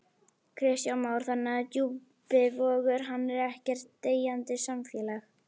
Kristján Már: Þannig að Djúpivogur, hann er ekkert deyjandi samfélag?